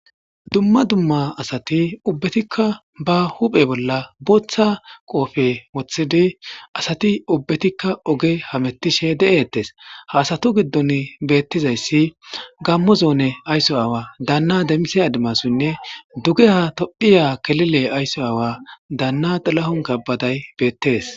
Dumma dumma asati ubbetikka ba huphe bolla booththa qoofe moththidi asati ubbetikka oge hamettishe de7ettes haasatu giddon beettizayssi gammo zoone aysso awa daanna demise adimasinne duge ha tophiya kelile aysso aawa daanna tilahun kabbaday beettees.